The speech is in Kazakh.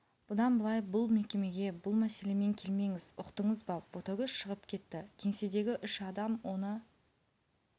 бұдан былай бұл мекемеге бұл мәселемен келмеңіз ұқтыңыз ба ботагөз шығып кетті кеңседегі үш адам оны